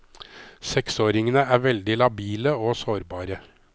Seksåringene er veldig labile og sårbare.